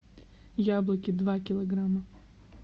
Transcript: яблоки два килограмма